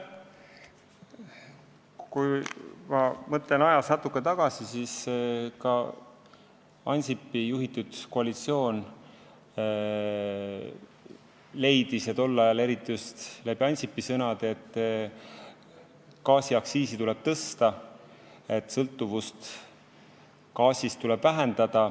Kui ma mõtlen ajas natuke tagasi, siis ka Ansipi juhitud koalitsioon leidis tol ajal, eriti just läbi Ansipi sõnade, et gaasiaktsiisi tuleb tõsta ja sõltuvust gaasist tuleb vähendada.